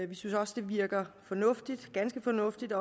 vi synes også det virker fornuftigt ganske fornuftigt